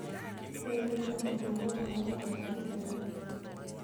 Ne en miriambo, omiyo, ne ok omako pachji ahinya.